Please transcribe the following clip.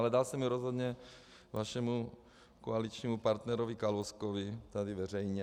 Ale dal jsem ji rozhodně vašemu koaličnímu partnerovi Kalouskovi tady veřejně.